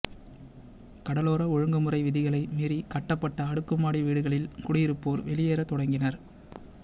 கடலோர ஒழுங்குமுறை விதிகளை மீறி கட்டப்பட்ட அடுக்குமாடி வீடுகளில் குடியிருப்போர் வெளியேற தொடங்கினர்